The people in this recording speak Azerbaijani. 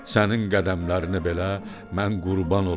Sənin qədəmlərini belə mən qurban olum.